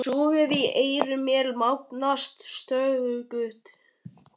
Suðið í eyrum mér magnast stöðugt.